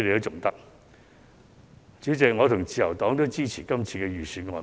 主席，我和自由黨也支持這份預算案。